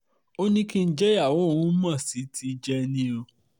ó ní kí n jẹ́ ìyàwó òun mo sì ti jẹ ẹ́ ni oò